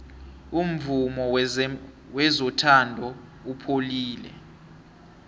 umvumo wezothando upholile